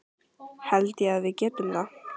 Held ég að við getum það?